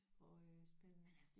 Øj spændende